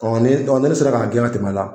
Ɔ ne dɔn ne ne sera k'a gɛn ka tɛm'a la